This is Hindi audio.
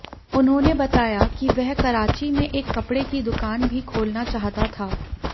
उन्होंने बताया कि वह कराची में एक कपड़े की दुकान भी खोलना चाहता था